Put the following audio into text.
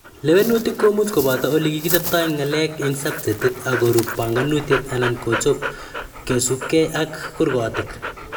Lewenutik komuch koboto olekichobtoi ng'alek eng sabchetit, akorub banganutiet anan kechob kosubkei ak kurgotik.